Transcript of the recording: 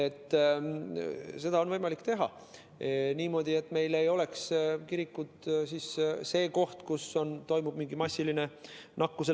Seda on võimalik teha niimoodi, et kirikud ei oleks see koht, kus toimub nakkuse massiline levik.